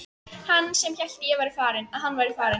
Hann sem hélt að hann væri farinn!